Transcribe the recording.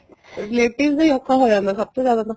relatives ਦਾ ਈ ਔਖਾ ਹੋ ਜਾਂਦਾ ਸਭ ਤੋਂ ਜਿਆਦਾ ਤਾਂ